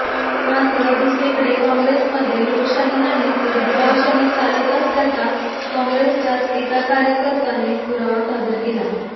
मात्र दुसरीकडे काँग्रेसमध्ये लोकशाही नाही तर दबावशाही चालत असल्याचा काँग्रेसच्याच एका कार्यकर्त्याने पुरावा सादर केला